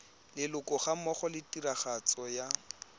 leloko gammogo le tiragatso ya